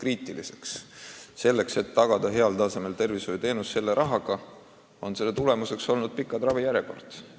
Aga me oleme soovinud tagada olemasoleva rahaga heal tasemel arstiabi ning tagajärjeks on pikad ravijärjekorrad.